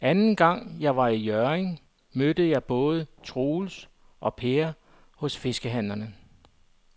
Anden gang jeg var i Hjørring, mødte jeg både Troels og Per hos fiskehandlerne.